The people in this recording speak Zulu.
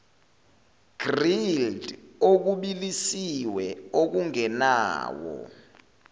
grilled okubilisiwe okungenawo